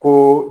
Ko